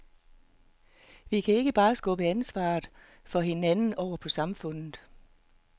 Vi kan ikke bare skubbe ansvaret for hinanden over på samfundet.